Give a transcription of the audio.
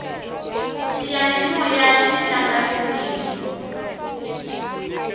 xiyanimoyaxi tlanga tisimu